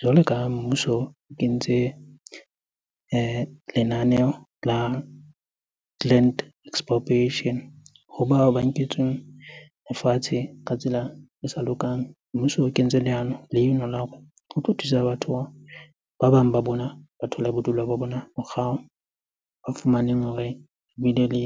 Jwalo ka mmuso o kentse lenaneo la land expropriation ho bao ba nketsweng lefatshe ka tsela e sa lokang. Mmuso o kentse leano leno la hore ho tlo thusa batho bao, bang ba bona ba thole bodulo ba bona morao. Ba fumaneng hore bile le